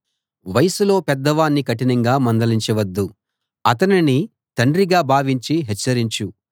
వయసులో పెద్దవాణ్ణి కఠినంగా మందలించ వద్దు అతనిని తండ్రిగా భావించి హెచ్చరించు